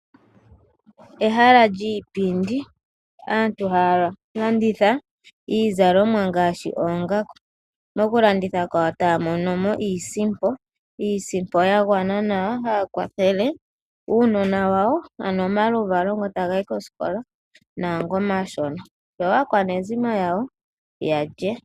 Ehala lyiipindi muno aantu ohaya landitha iizalomwa ngaashi oongaku. Mokulanditha kwawo ohaya mono iisimpo yagwana nawa. Ohaya kwathele uunona wawo ano omaluvalo ngoka taga yi koositola noshowoo omashona, oshowoo aakwanezimo yawo yalye.